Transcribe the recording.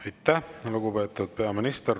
Aitäh, lugupeetud peaminister!